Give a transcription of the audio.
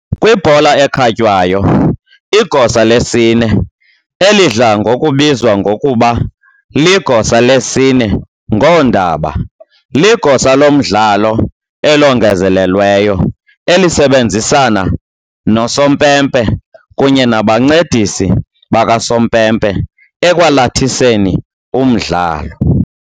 Kwibhola ekhatywayo, igosa lesine, elidla ngokubizwa ngokuba ligosa lesine ngoondaba, ligosa lomdlalo elongezelelweyo elisebenzisana nosompempe kunye nabancedisi bakasompempe ekwalathiseni umdlalo.